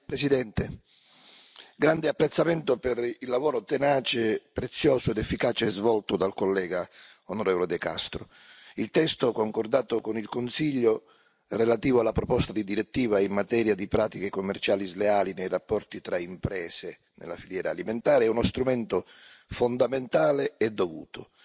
Signor Presidente, onorevoli colleghi, esprimo grande apprezzamento per il lavoro tenace, prezioso ed efficace svolto dal collega, l'onorevole De Castro. Il testo concordato con il Consiglio relativo alla proposta di direttiva in materia di pratiche commerciali sleali nei rapporti tra imprese nella filiera alimentare è uno strumento fondamentale e dovuto.